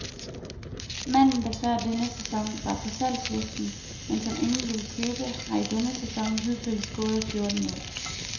Manden, der før denne sæson var på salgslisten, men som ingen ville købe, har i denne sæson hidtil scoret fjorten mål.